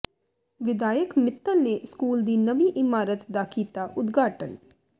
ਵਿਧਾਇਕ ਮਿੱਤਲ ਨੇ ਸਕੂਲ ਦੀ ਨਵੀਂ ਇਮਾਰਤ ਦਾ ਕੀਤਾ ਉਦਘਾਟਨ